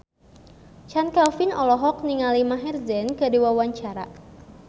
Chand Kelvin olohok ningali Maher Zein keur diwawancara